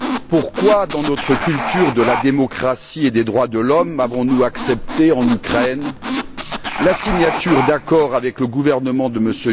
Pourquoi, dans notre culture de la démocratie et des droits de l'homme, avons nous accepté en Ukraine la signature d'accords avec le gouvernement de M.